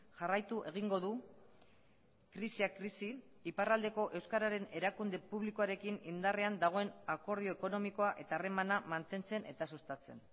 jarraitu egingo du krisia krisi iparraldeko euskaren erakunde publikoarekin indarrean dagoen akordio ekonomikoa eta harremana mantentzen eta sustatzen